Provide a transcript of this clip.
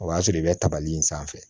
O y'a sɔrɔ i bɛ tabali in sanfɛ